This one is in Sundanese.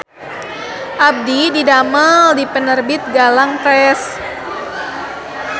Abdi didamel di Penerbit Galang Press